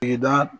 I da